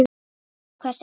Og hrósa hvert öðru.